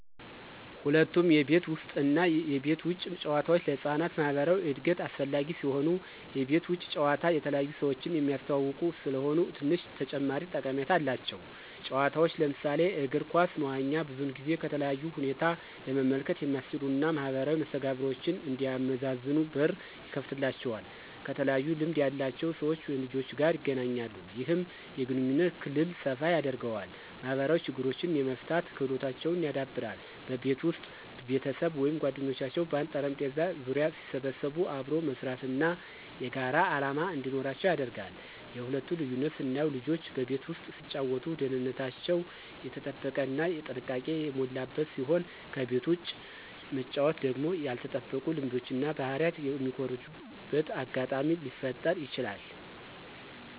ሁለቱም የቤት ውስጥ እና የቤት ውጭ ጨዋታዎች ለህፃናት ማኅበራዊ እድገት አስፈላጊ ሲሆኑ፣ የቤት ውጭ ጨዋታ የተለያዩ ሰዎችን የሚያስተዋውቁ ስለሆኑ ትንሽ ተጨማሪ ጠቀሜታ አላቸው። ጨዋታዎች ለምሳሌ እግር ኳስ፣ መዋኛ ብዙውን ጊዜ ከተለያዩ ሁኔታ ለመመልከት የሚያስችሉ እና ማኅበራዊ መስተጋብሮችን እንዲያመዛዝኑ በር ይከፍትላቸዋል። ከተለያዩ ልምድ ያላቸው ሰዎች/ልጆች ጋር ይገናኛሉ። ይህም የግንኙነት ክልል ሰፋ ያደርገዋል። ማኅበራዊ ችግሮችን የመፍታት ክህሎታቸውን ያዳብራል። በቤት ውስጥ ቤተሰብ ወይም ጓደኞች በአንድ ጠረጴዛ ዙሪያ ሲሰበሰቡ አብሮ መስራት እና የጋራ ዓላማ እንዲኖራቸው ያደርጋል። የሁለቱ ልዩነት ስናየው ልጆች በቤት ውስጥ ሲጫወቱ ደህንነታቸው የተጠበቀ እና ጥንቃቄ የሞላበት ሲሆን ከቤት ውጭ መጫወቱ ደግሞ ያልተጠበቁ ልምዶችን እና ባህሪ የሚኮርጁበት አጋጣሚ ሊፈጠረ ይችላል።